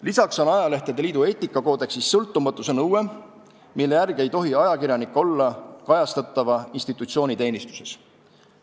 Lisaks on ajalehtede liidu eetikakoodeksis sõltumatuse nõue, mille järgi ei tohi ajakirjanik olla kajastatava institutsiooni teenistuses.